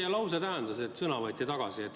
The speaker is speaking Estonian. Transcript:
Mida tähendas teie lause, et sõna võeti tagasi?